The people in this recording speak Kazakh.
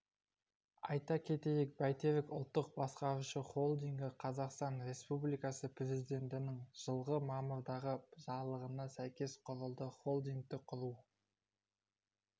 айта кетейік бәйтерек ұлттық басқарушы холдингі қазақстан республикасы президентінің жылғы мамырдағы жарлығына сәйкес құрылды холдингті құру